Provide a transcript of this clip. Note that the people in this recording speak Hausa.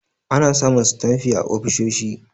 Ana samun sitanfi a ofisoshi.